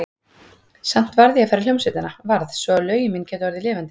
Samt varð ég að fara í hljómsveitina, varð, svo að lögin mín gætu orðið lifandi.